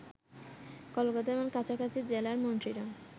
কলকাতা এবং কাছাকাছি জেলার মন্ত্রীরা